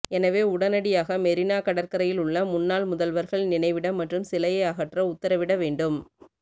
எனவே உடனடியாக மெரினா கடற்கரையில் உள்ள முன்னாள் முதல்வர்கள் நினைவிடம் மற்றும் சிலையை அகற்ற உத்தரவிட வேண்டும்